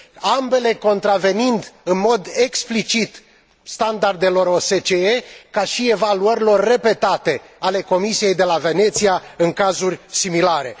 ambele contravenind în mod explicit standardelor OSCE, ca și evaluărilor repetate ale Comisiei de la Veneția în cazuri similare.